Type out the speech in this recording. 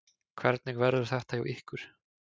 Hvernig verður þetta hjá ykkur?